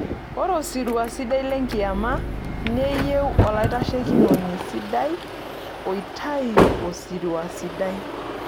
Ore usirua sidai le kiyama neyieu olaiteshikinoni sidai oitayu osirua sidai.